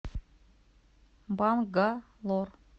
бангалор